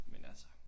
Men altså